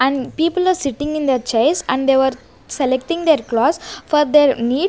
and people are sitting in their chairs and they were selecting their cloths for their --